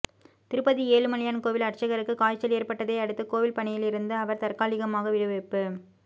திருப்பதி ஏழுமலையான் கோவில் அர்ச்சகருக்கு காய்ச்சல் ஏற்பட்டதை அடுத்து கோவில் பணியில் இருந்து அவர் தற்காலிகமாக விடுவிப்பு